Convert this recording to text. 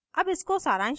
अब इसको सारांशित करते हैं: